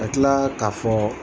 A tila k'a fɔ